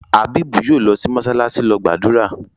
Abeeb yóò lọ sí “mọsálásí” lọ gbàdúrà.